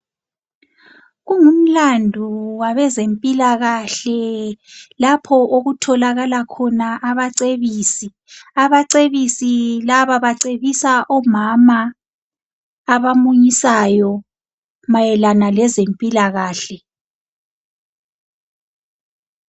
Kungumlando wabezempilakahle lapho okutholakala khona abacebisi. Abacebisi laba bacebisa omama abamunyisayo mayelana lezempilakahle.